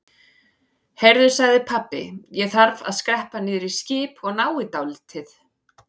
Heyrðu sagði pabbi, ég þarf að skreppa niður í skip og ná í dálítið.